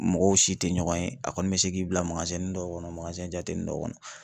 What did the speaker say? Mɔgɔw si tɛ ɲɔgɔn ye , a kɔni bɛ se k'i bila dɔw kɔnɔ jate dɔw kɔnɔ.